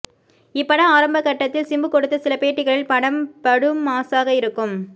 இப்பட ஆரம்பகட்டத்தில் சிம்பு கொடுத்த சில பேட்டிகளில் படம் படு மாஸாக இருக்கும்